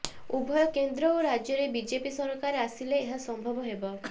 ଉଭୟ କେନ୍ଦ୍ର ଓ ରାଜ୍ୟରେ ବିଜେପି ସରକାର ଆସିଲେ ଏହା ସମ୍ଭବ ହେବ